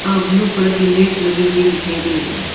और blue colour की mat लगी हुई दिखाई दे रही है।